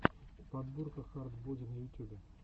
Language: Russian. подборка хард боди на ютюбе